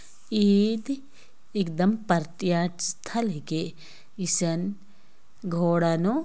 एदि एकदम प्रत्तियास्थल स्थल हेके इसन घोड़ा नु --